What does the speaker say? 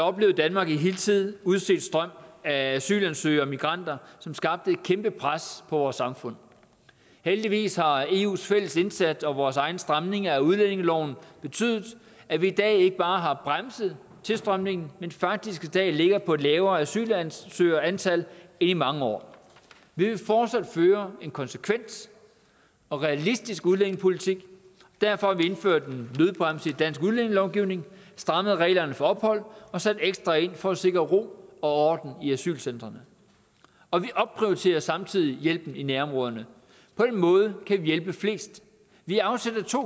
oplevede danmark en hidtil uset strøm af asylansøgere og migranter som skabte et kæmpe pres på vores samfund heldigvis har eus fælles indsats og vores egen stramning af udlændingeloven betydet at vi i dag ikke bare har bremset tilstrømningen men faktisk ligger på et lavere asylansøgerantal end i mange år vi vil fortsat føre en konsekvent og realistisk udlændingepolitik og derfor har vi indført en nødbremse i dansk udlændingelovgivning og strammet reglerne for ophold og sat ekstra ind for at sikre ro og i asylcentrene og vi opprioriterer samtidig hjælpen i nærområderne på den måde kan vi hjælpe flest vi afsætter to